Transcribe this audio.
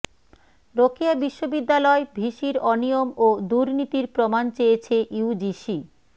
রোকেয়া বিশ্ববিদ্যালয় ভিসির অনিয়ম ও দুর্নীতির প্রমাণ চেয়েছে ইউজিসি